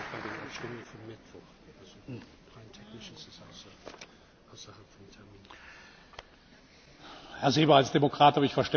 Herr Seeber! Als Demokrat habe ich Verständnis für alles, auch für Ihren Antrag. Als Präsident bin ich gehalten, die Geschäftsordnung anzuwenden.